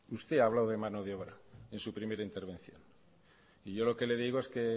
usted ha hablado de mano de obra en su primera intervención y yo lo que le digo es que